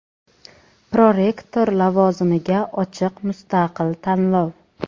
Prorektor lavozimiga ochiq mustaqil tanlov.